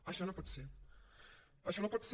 això no pot ser això no pot ser